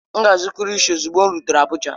M ga-azụrụ kilishi ozugbo m rutere Abuja